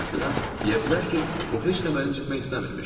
Məsələn, deyə bilər ki, o heç də məni incitmək istəmirmiş.